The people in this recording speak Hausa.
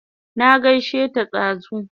Na gaishe ta dazu